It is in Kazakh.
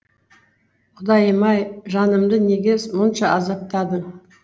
құдайым ай жанымды неге мұнша азаптадың